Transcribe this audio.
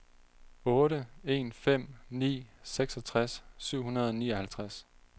otte en fem ni seksogtres syv hundrede og nioghalvtreds